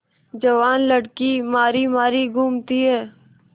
जवान लड़की मारी मारी घूमती है